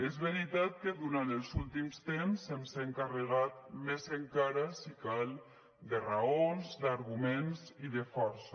és veritat que durant els últims temps ens hem carregat més encara si cal de raons d’arguments i de força